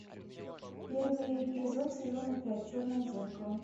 первый эпизод сезона пять черное зеркало